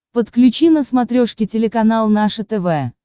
подключи на смотрешке телеканал наше тв